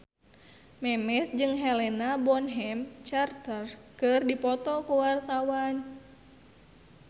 Memes jeung Helena Bonham Carter keur dipoto ku wartawan